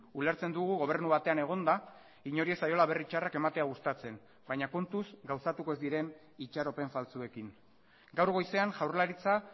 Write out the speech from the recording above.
ulertzen dugu gobernu batean egonda inori ez zaiola berri txarrak ematea gustatzen baina kontuz gauzatuko ez diren itxaropen faltsuekin gaur goizean jaurlaritza